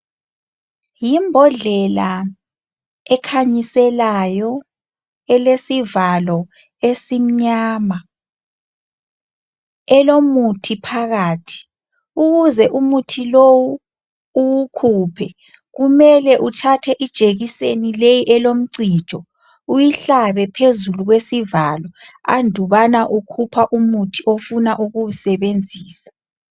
Yibhodlela ekhanyiselayo elesivalo esimnyama elomuthi phakathi ukuze umuthi lowu uwukhuphe kumele uthathe ijekiseni le elomcijo uyihlabe phezulu kwesivalo andubana ukhupha umuthi ofuna ukuwusebenzisa.